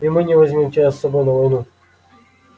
и мы не возьмём тебя с собой на войну